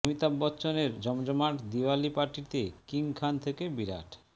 অমিতাব বচ্চনের জমজমাট দিওয়ালি পার্টিতে কিং খান থেকে বিরাট